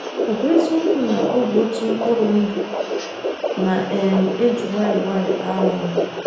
Ọ ̀ bụ eziokwu na ọ bụ otu mkpụrụ ndụ na - um eji nwayọọ nwayọọ aghọ nwa?